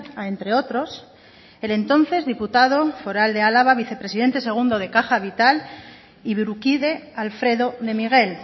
a entre otros el entonces diputado foral de álava vicepresidente segundo de caja vital y burukide alfredo de miguel